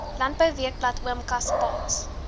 landbouweekblad oom kaspaas